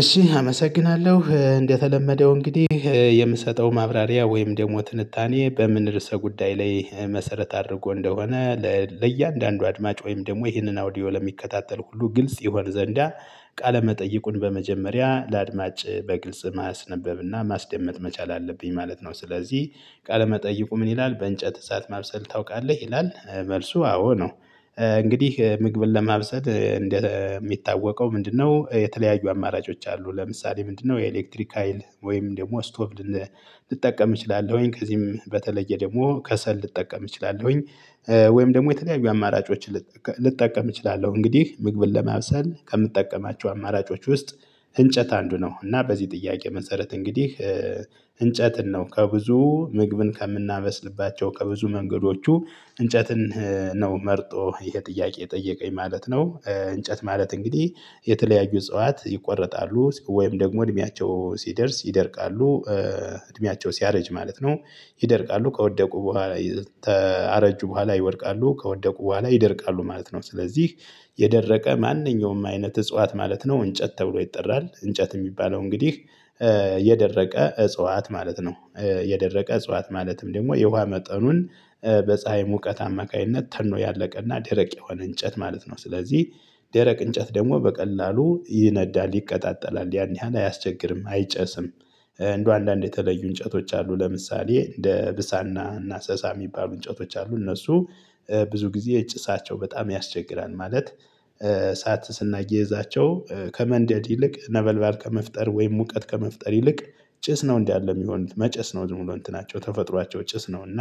እሺ አመሰግናለሁ እንደተለመደው እንግዲህ የምሰጠው ማብራሪያ ወይም ደግሞ ትንታኔ በምን ርዕሰ ጉዳይ ላይ መሰረት አድርጎ እንደሆነ ለእያንዳንዱ አድማጭ ወይም ደግሞ ይህንን አውዲዮ ለሚከታተል ሁሉ ግልጽ ይሆን ዘንዳ ቃለመጠይቁን በመጀመሪያ ለአድማጭ በግልጽ ማስነበብና ማስደመጥ መቻል አለብኝ ማለት ነው። ስለዚህ ቃለመጠይቁ ምን ይላል? በእንጨት እሳት ማብሰል ታውቃለህ ይላል መልሱ አዎ ነው። እንግዲህ ምግብን ለማብሰል እንደሚታወቀው ምንድነው የተለያዩ አማራጮች አሉ ለምሳሌ ምንድነው የኤሌክትሪክ ሀይል ወይም ደግሞ ስቶቭ። ልጠቀም እችላለሁኝ ከዚህም በተለየ ደግሞ ከሰል ልጠቀም እችላለሁኝ። ወይም ደግሞ የተለያዩ አማራጮችን ልጠቀም እችላለሁ። እንግዲህ ምግብን ለማብሰል ከምትጠቀማቸው አማራጮች ውስጥ እንጨት አንዱ ነው። እና በዚህ ጥያቄ መሰረት እንግዲህ እንጨትን ነው ከብዙ ምግብን ከምናበስልባቸው ከብዙ መንገዶቹ እንጨትን ነው መርጦ ይሄ ጥያቄ የጠየቀኝ ማለት ነው። እንጨት ማለት እንግዲህ የተለያዩ እጽዋት ይቆረጣሉ ወይም ደግሞ እድሜያቸው ሲደርስ ይደርቃሉ። እድሜያቸው ሲያረጅ ማለት ነው። ይደርቃሉ ከወደቁ በኋላ ካረጁ በኋላ ይወድቃሉ ከወደቁ በኋላ ይደርቃሉ ማለት ነው። ስለዚህ የደረቀ ማንኛውም አይነት እጽዋት ማለት ነው እንጨት ተብሎ ይጠራል። እንጨት የሚባለው እንግዲህ የደረቀ እጽዋት ማለት ነው። የደረቀ እጽዋት ማለትም ደግሞ የውሃ መጠኑን በፀሀይ ሙቀት አማካይነት ተኖ ያለቀና ድረቅ የሆነ እንጨት ማለት ነው። ስለዚህ ደረቅ እንጨት ደግሞ በቀላሉ ይነዳል ይቆጣጠላል ያን ያህል አያስቸግርም አይጨስም። እንደው አንዳንድ የተለዩ እንጨቶች አሉ ለምሳሌ እንደ ብሳና እና ሰሳ የሚባሉ እንጨቶች አሉ እነሱ ብዙ ጊዜ ጭሳቸው በጣም ያስቸግራል። ማለት እሳት ስናያይዛቸው ከመንደድ ይልቅ ነበልባል ከመፍጠር ወይም ሙቀት ከመፍጠር ይልቅ ጭስ ነው እንዴ ያለ የሚሆን መጨስ ነው። ዝም ብሎ እንትናቸው ተፈጥሯቸው ጭስ ነው። እና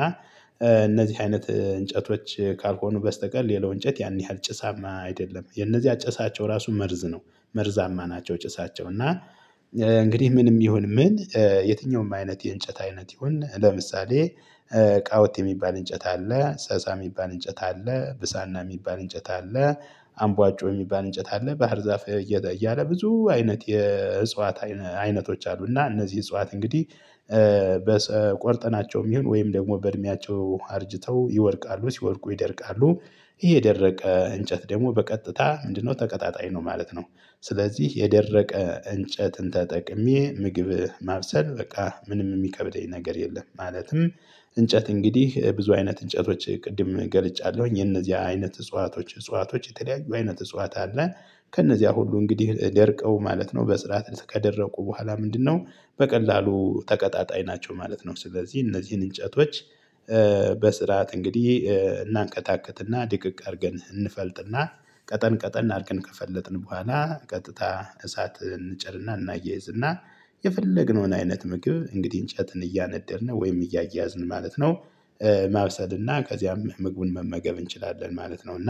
እነዚህ አይነት እንጨቶች ካልሆኑ በስተቀር ሌላው እንጨት ያን ያህል ጭሳማ አይደለም። የነዚያ ጭሳቸው ራሱ መርዝ ነው መርዛማ ናቸው። ጭሳቸው እና እንግዲህ ምንም ይሁን ምን የትኛውም አይነት የእንጨት አይነት ይሁን ለምሳሌ ቃወት የሚባል እንጨት አለ። ሰሳ የሚባል እንጨት አለ። ብሳና ሚባል እንጨት አለ። አምቧጮ የሚባል እንጨት አለ። ባህር ዛፍ እያለ እያለ ብዙ አይነት የእጽዋት አይነት አይነቶች አሉና እነዚህ እጽዋት እንግዲህ በቆርጠናቸውም ይሁን ወይም ደግሞ በእድሜያቸው አርጅተው ይወድቃሉ ሲወድቁ ይደርቃሉ። ይሄ የደረቀ እንጨት ደግሞ በቀጥታ ምንድነው ተቀጣጣይ ነው ማለት ነው። ስለዚህ የደረቀ እንጨትን ተጠቅሜ ምግብ ማብሰል በቃ ምንም የሚከብደኝ ነገር የለም። ማለትም እንጨት እንግዲህ ብዙ አይነት እንጨቶች ቅድም ገልጫለሁኝ የነዚህ አይነት እጽዋቶች እጽዋቶች የተለያዩ አይነት እጽዋት አለ። ከነዚያ ሁሉ እንግዲህ ደርቀው ማለት ነው በስርዓት እስከደረቁ በኋላ ምንድነው በቀላሉ ተቀጣጣይ ናቸው ማለት ነው። ስለዚህ እነዚህን እንጨቶች በስርዓት እንግዲህ እናንከታክትና ድቅቅ አድርገን እንፈልጥና ቀጠን ቀጠን አድርገን ከፈለጥን በኋላ ቀጥታ እሳት እንጭርና እናያይዝና የፈለግነውን አይነት ምግብ እንግዲህ እንጨትን እያነደድነ ወይም እያያዝን ማለት ነው። ማብሰልና ከዚያም ምግቡን መመገብ እንችላለን ማለት ነው። እና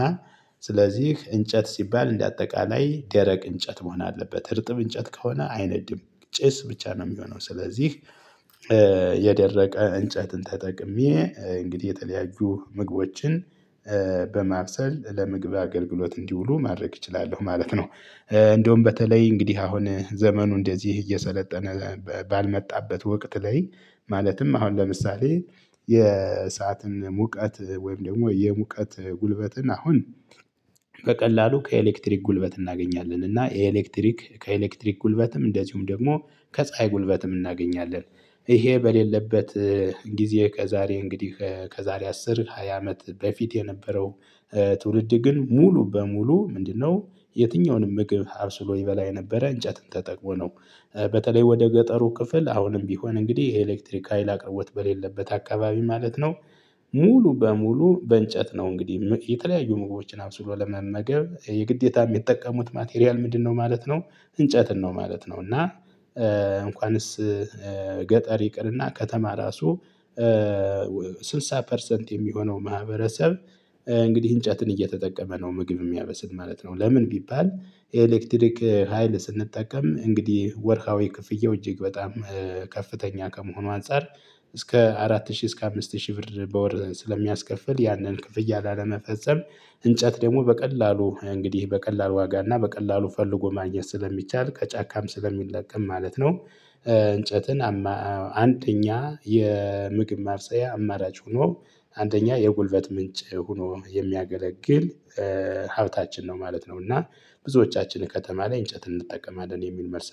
ስለዚህ እንጨት ሲባል እንደ አጠቃላይ ደረቅ እንጨት መሆን አለበት እርጥብ እንጨት ከሆነ አይነድም። ጭስ ብቻ ነው የሚሆነው ስለዚህ። እንጨትን ተጠቅሜ እንግዲህ የተለያዩ ምግቦችን በማብሰል ለምግብ አገልግሎት እንዲውሉ ማድረግ እችላለሁ ማለት ነው። እንደውም በተለይ እንግዲህ አሁን ዘመኑ እንደዚህ እየሰለጠነ ባልመጣበት ወቅት ላይ ማለትም አሁን ለምሳሌ የእሳትን ሙቀት ወይም ደግሞ የሙቀት ጉልበትን አሁን በቀላሉ ከኤሌክትሪክ ጉልበት እናገኛለን እና ኤሌክትሪክ ከኤሌክትሪክ ጉልበትም እንደዚሁም ደግሞ ከፀሀይ ጉልበትም እናገኛለን። ይሄ በሌለበት ጊዜ ከዛሬ እንግዲህ ከዛሬ አስር ሃያ አመት በፊት የነበረው ትውልድ ግን ሙሉ በሙሉ ምንድነው የትኛውንም ምግብ አብስሎ ይበላ የነበረው እንጨትን ተጠቅሞ ነው። በተለይ ወደ ገጠሩ ክፍል አሁንም ቢሆን እንግዲህ የኤሌክትሪክ ሀይል አቅርቦት በሌለበት አካባቢ ማለት ነው። ሙሉ በሙሉ በእንጨት ነው እንግዲህ የተለያዩ ምግቦችን አብሶ ለመመገብ የግዴታም ሚጠቀሙት ማቴሪያል ምንድነው ማለት ነው። እንጨትን ነው ማለት ነው። እና እንኳንስ ገጠር ይቅርና ከተማ ራሱ ስልሳ ፐርሰንት የሚሆነው ማህበረሰብ እንግዲህ እንጨትን እየተጠቀመ ነው ምግብ የሚያበስል ማለት ነው። ለምን ቢባል የኤሌክትሪክ ሀይል ስንጠቀም እንግዲህ ወርሃዊ ክፍያው እጅግ በጣም ከፍተኛ ከመሆኑ አንፃር። እስከ አራት ሺህ እስከ አምስት ሺህ ብር በወር ስለሚያስከፍል ያንን ክፍያ ላለመፈጸም እንጨት ደግሞ በቀላሉ እንግዲህ በቀላል ዋጋና በቀላሉ ፈልጎ ማግኘት ስለሚቻል ከጫካም ስለሚለቀም ማለት ነው። እንጨትን አንደኛ የምግብ ማብሰያ አማራጭ ሆኖ አንደኛ የጉልበት ምንጭ ሆኖ የሚያገለግል ሀብታችን ነው ማለት ነው። እና ብዙዎቻችን ከተማ ላይ እንጨት እንጠቀማለን የሚል መልስ